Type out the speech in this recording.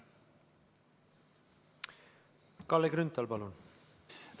Kalle Grünthal, palun!